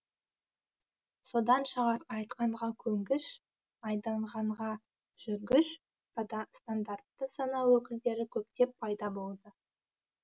содан шығар айтқанға көнгіш айдағанға жүргіш стандартты сана өкілдері көптеп пайда болды